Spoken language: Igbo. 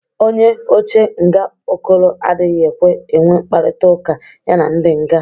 Onye oche nga Okoro adịghị ekwe enwe mkparịtaụka ya na ndị nga.